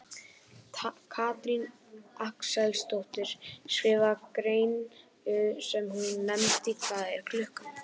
Katrín Axelsdóttir skrifaði grein sem hún nefndi Hvað er klukkan?